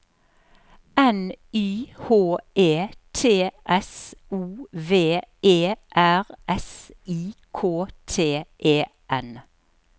N Y H E T S O V E R S I K T E N